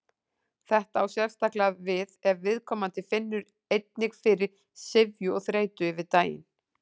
Þetta á sérstaklega við ef viðkomandi finnur einnig fyrir syfju og þreytu yfir daginn.